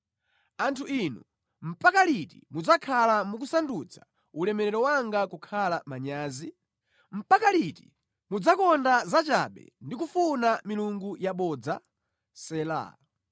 Anthu inu, mpaka liti mudzakhala mukusandutsa ulemerero wanga kukhala manyazi? Mpaka liti mudzakonda zachabe ndi kufuna milungu yabodza? Sela.